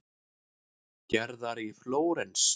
Gerðar í Flórens.